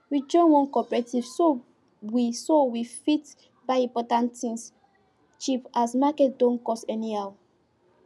we join one cooperative so we so we fit buy important things cheap as market don cost anyhow